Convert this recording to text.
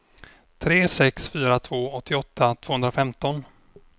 tre sex fyra två åttioåtta tvåhundrafemton